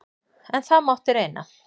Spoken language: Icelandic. En það mætti reyna!